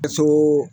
Ka so